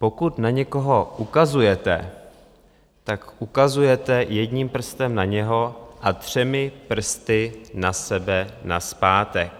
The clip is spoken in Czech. Pokud na někoho ukazujete, tak ukazujete jedním prstem na něho a třemi prsty na sebe nazpátek.